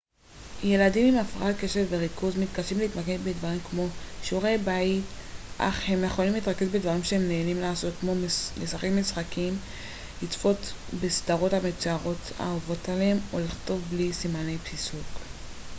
ילדים עם הפרעת קשב וריכוז מתקשים להתמקד בדברים כמו שיעורי בית אך הם יכולים להתרכז בדברים שהם נהנים לעשות כמו לשחק משחקים לצפות בסדרות המצוירות האהובות עליהם או לכתוב בלי סימני פיסוק